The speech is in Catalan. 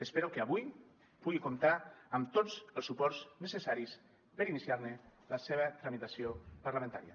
espero que avui pugui comptar amb tots els suports necessaris per iniciar ne la seva tramitació parlamentària